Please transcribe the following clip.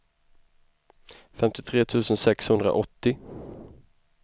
femtiotre tusen sexhundraåttio